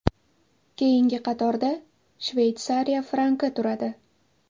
Keyingi qatorda Shveysariya franki turadi.